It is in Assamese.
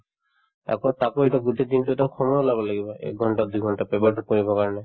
আকৌ তাতো এটা গোটেই দিনতোত এটা সময় ওলাব লাগিব একঘণ্টা দুঘণ্টা paper তো পঢ়িবৰ কাৰণে